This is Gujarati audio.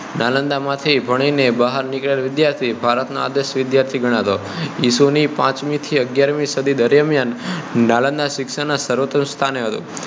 નાલંદા માંથી ભણી ને બહાર નીકળેલા વિદ્યાર્થીઓ ભારત નાં આદર્શ વિદ્યાર્થી ગણાતો હતો ઈસુ ની પાંચમી થી અગિયારમી સદી દરમિયાન નાલંદા શિક્ષણ નાં સર્વશ્રેષ્ઠ સ્થાને હતું